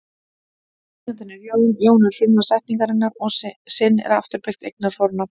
Eigandinn er Jón, Jón er frumlag setningarinnar og sinn er afturbeygt eignarfornafn.